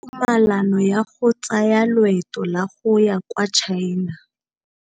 O neetswe tumalanô ya go tsaya loetô la go ya kwa China.